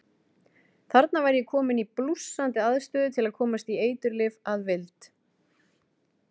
Þarna var ég kominn í blússandi aðstöðu til að komast í eiturlyf að vild.